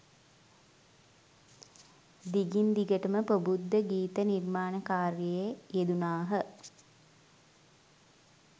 දිගින් දිගටම ප්‍රබුද්ධ ගීත නිර්මාණ කාර්යයේ යෙදුනාහ